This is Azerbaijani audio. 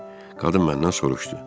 Qadın məndən soruşdu.